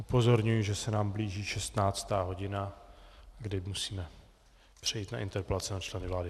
Upozorňuji, že se nám blíží 16. hodina, kdy musíme přejít na interpelace na členy vlády.